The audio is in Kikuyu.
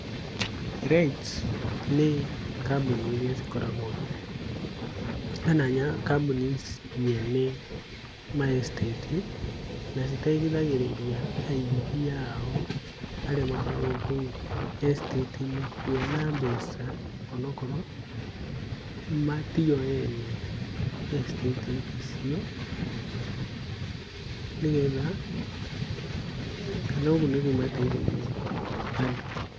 REITS nĩ kambũni iria cikoragwo kana kambũni nyene ma estate na citeithagĩrĩria aigithia ao arĩa makoragwo kou estate inĩ kuona mbeca o na okorwo tio ene estate icio nĩgetha, kana ũguo nĩguo mateithagĩrĩria andũ.